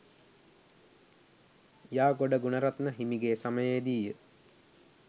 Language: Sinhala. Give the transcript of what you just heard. යාගොඩ ගුණරත්න හිමිගේ සමයේදීය.